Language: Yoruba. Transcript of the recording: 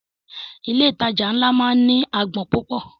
Ilé ìtajà ńlá máa ń ní agbọn púpọ̀.